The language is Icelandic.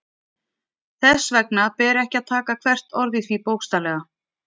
Þess vegna ber ekki að taka hvert orð í því bókstaflega.